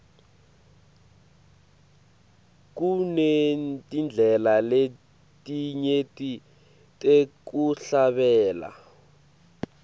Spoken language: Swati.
kunetindlela letinyenti tekuhlabela